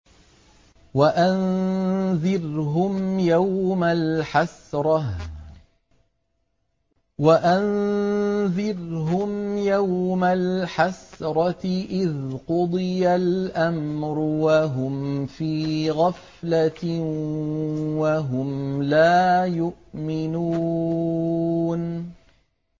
وَأَنذِرْهُمْ يَوْمَ الْحَسْرَةِ إِذْ قُضِيَ الْأَمْرُ وَهُمْ فِي غَفْلَةٍ وَهُمْ لَا يُؤْمِنُونَ